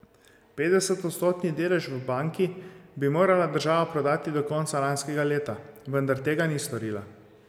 Petdesetodstotni delež v banki bi morala država prodati do konca lanskega leta, vendar tega ni storila.